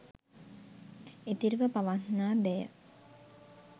ඉතිරිව පවත්නා දෑය.